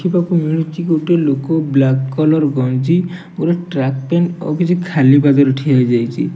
ଦେଖିବାକୁ ମିଳୁଛି ଗୋଟେ ଲୋକ ବ୍ଲାକ୍ କଲର୍ ଗଞ୍ଜି ଗୋଟେ ଟ୍ରାକ୍ ପେଣ୍ଟ୍ ଆଉ କିଛି ଖାଲି ପାଦରେ ଠିଆ ହେଇଯାଇଚି ।